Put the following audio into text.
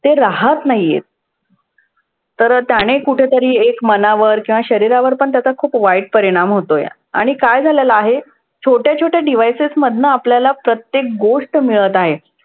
ते राहत नाही आहेत. तर त्याने कुठंतरी एक मनावर किंवा शरीरावरपण त्याचा खूप वाईट परिणाम होतोय. आणि काय झालेलं आहे, छोट्या छोट्या devices मधनं आपल्याला प्रत्येक गोष्ट मिळत आहे.